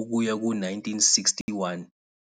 ukuya ku 1961.